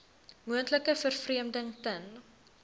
moontlike vervreemding ten